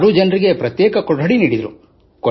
6 ಜನರಿಗೆ ಪ್ರತ್ಯೇಕ ಕೋಣೆಗಳನ್ನು ನೀಡಿದರು